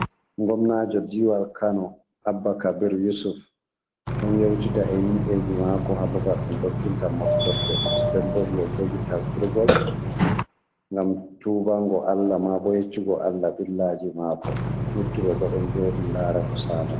Gomnaajo diwal kano Abba Kabir Yusuf, ɗon yewtida e himɓeji mako ha babal ɗum dogginta moftorde. Nden bo o ɗo jogi tasbrigol ngam tubango Allah, ma bo yeccugo Allah ɓillaaji mako. Luttuɓe bo ɗon jooɗi ndaara ko saalata.